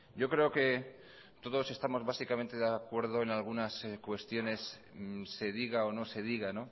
yo creo que todos estamos básicamente de acuerdo en algunas cuestiones se diga o no se diga